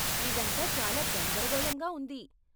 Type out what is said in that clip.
ఇదంతా చాలా గందరగోళంగా ఉంది.